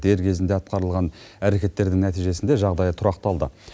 дер кезінде атқарылған әрекеттердің нәтижесінде жағдай тұрақталды